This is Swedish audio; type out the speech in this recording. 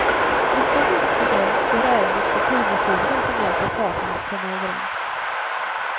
Lyckas inte det går ärendet till kronofogden som hjälper parterna att komma överens.